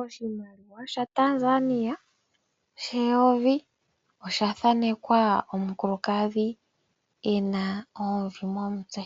Oshimaliwa shaTanzania sheyovi osha thaanekwa omukulukadhi e na oomvi momutse.